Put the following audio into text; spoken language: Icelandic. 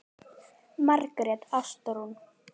Margrét Ástrún.